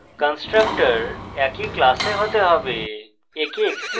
constructors একই class হতে হবে